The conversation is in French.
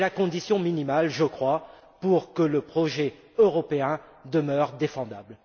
C'est la condition minimale, je crois, pour que le projet européen demeure défendable.